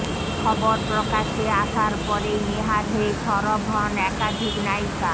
খবর প্রকাশ্যে আসসার পরই নেহার হয়ে সরব হন একাধিক নায়িকা